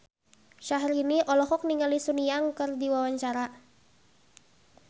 Syahrini olohok ningali Sun Yang keur diwawancara